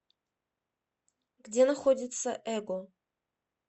где находится эго